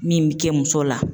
Min bi kɛ muso la